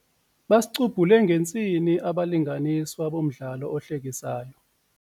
Basicubhule ngentsini abalinganiswa bomdlalo ohlekisayo.